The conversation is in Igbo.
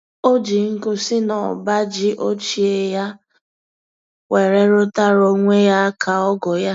O ji nkụ si na ọba ji ochie ya were rụtara onwe ya aka ọgụ ya